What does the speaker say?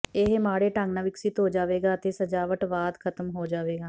ਇਹ ਮਾੜੇ ਢੰਗ ਨਾਲ ਵਿਕਸਿਤ ਹੋ ਜਾਵੇਗਾ ਅਤੇ ਸਜਾਵਟਵਾਦ ਖਤਮ ਹੋ ਜਾਵੇਗਾ